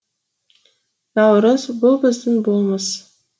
наурыз бұл біздің болмыс